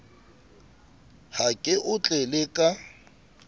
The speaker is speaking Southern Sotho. ha ke o tlele ka